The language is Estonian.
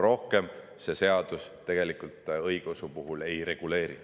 Rohkem see seadus õigeusu puhul midagi ei reguleeri.